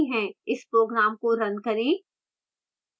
इस program को run करें